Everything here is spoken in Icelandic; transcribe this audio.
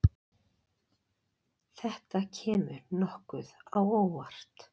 Þetta kemur nokkuð á óvart.